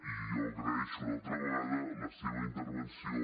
i jo agraeixo una altra vegada la seva intervenció